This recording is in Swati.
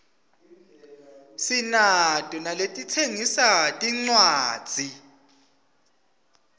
sinato naletitsengisa tincwadzi